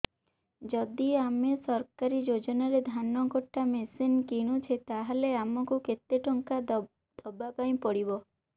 ଯଦି ଆମେ ସରକାରୀ ଯୋଜନାରେ ଧାନ କଟା ମେସିନ୍ କିଣୁଛେ ତାହାଲେ ଆମକୁ କେତେ ଟଙ୍କା ଦବାପାଇଁ ପଡିବ